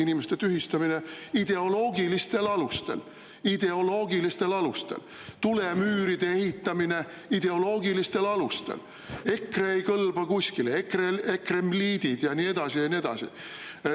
Inimeste tühistamine ideoloogilistel alustel, tulemüüride ehitamine ideoloogilistel alustel, EKRE ei kõlba kuskile, ekreiidid ja nii edasi, ja nii edasi.